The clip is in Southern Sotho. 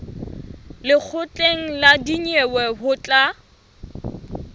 lekgotleng la dinyewe ho tla